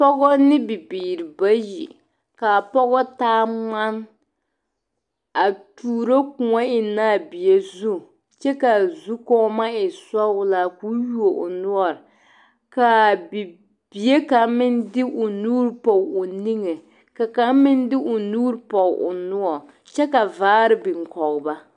Pɔgɔ ne bibiiri bayi ka a pɔge taa ŋmane a tuuro kõɔ ennɛ a bie zu kyɛ ka a zukɔɔma e zɔglaa k'o yuo o noɔre ka a bibii ka bie kaŋ meŋ de o nuuri pɔge o niŋe ka kaŋa meŋ de o nuuri pɔge o noɔre kyɛ ka vaare biŋ kɔge ba.